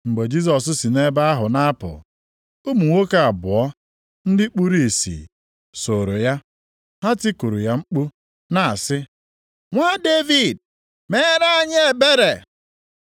Mgbe Jisọs si nʼebe ahụ na-apụ, ụmụ nwoke abụọ ndị kpuru ìsì sooro ya. Ha tikuru ya mkpu na-asị, “Nwa Devid, meere anyị ebere!”